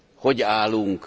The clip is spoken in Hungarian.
Hogy állunk?